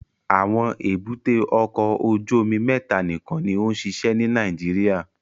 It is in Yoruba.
Awọn èbúté ọkọ ojú omi mẹta nikan ni o nṣiṣẹ ni Nàìjíríà